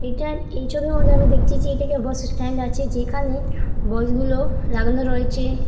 এটা এই ছবির মধ্যে আমি দেখছি যে এটা কে একটা বাস স্ট্যান্ড আছে। যেখানে বাস গুলো লাগানো রয়েছে।